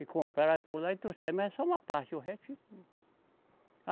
E compraram por lá e trouxeram, mas é só uma parte, o resto